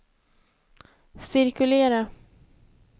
cirkulera